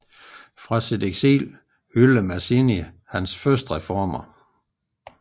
Fra sit eksil hyllede Mazzini hans første reformer